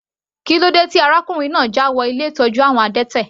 Kílódé tí arákùnrin náà jáwọ ilé ìtọ́jú àwọn adẹ́tẹ̀?